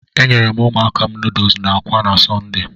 E nyeere m ụmụaka nuduls n'akwa na Sọnde.